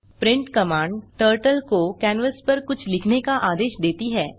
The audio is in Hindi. प्रिंट कमांड टर्टल को कैनवास पर कुछ लिखने का आदेश देती है